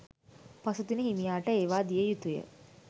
පසුදින හිමියාට ඒවා දිය යුතු ය.